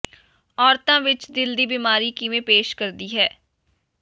ਔਰਤਾਂ ਵਿਚ ਦਿਲ ਦੀ ਬੀਮਾਰੀ ਕਿਵੇਂ ਪੇਸ਼ ਕਰਦੀ ਹੈ